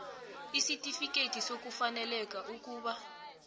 isitifikhethi sokufaneleka ukuba